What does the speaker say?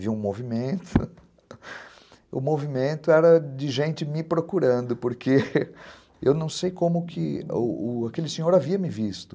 Vi um movimento, o movimento era de gente me procurando, porque eu não sei como aquele senhor havia me visto.